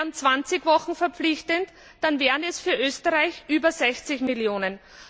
Wären 20 Wochen verpflichtend, dann wären es für Österreich über 60 Millionen.